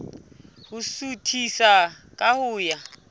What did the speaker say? ho suthisa ka ho ya